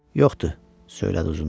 Yoxdu, söylədi Uzunduraz.